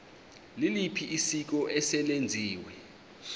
liliphi isiko eselenziwe